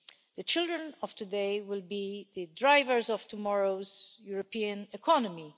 The children of today will be the drivers of tomorrow's European economy.